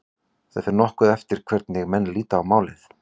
Það fer nokkuð eftir hvernig menn líta á málið.